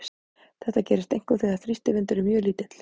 Þetta gerist einkum þegar þrýstivindur er mjög lítill.